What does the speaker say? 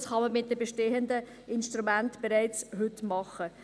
Das kann man mit den bestehenden Instrumenten bereits heute machen.